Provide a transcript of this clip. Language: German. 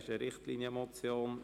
Es ist eine Richtlinienmotion.